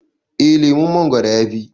eh lemon mongoron ya Fi